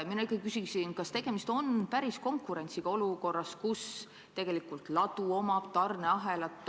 Mina küsiksin, et kas tegemist on ikka päris konkurentsiga olukorras, kus tegelikult ladu omab tarneahelat.